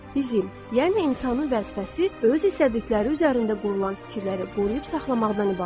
Bizim, yəni insanın vəzifəsi öz istədikləri üzərində qurulan fikirləri qoruyub saxlamaqdan ibarətdir.